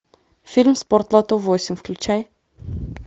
фильм спортлото восемь включай